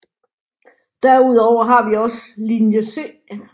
Derudover har vi også Linje C